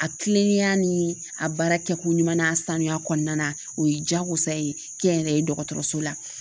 A kilenlenya ni a baara kɛ ko ɲuman ye sanuya kɔnɔna na o ye diyagosa ye kɛnyɛrɛye dɔgɔtɔrɔso la.